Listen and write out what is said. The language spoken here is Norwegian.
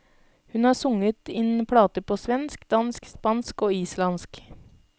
Hun har sunget inn plater på svensk, dansk, spansk og islandsk.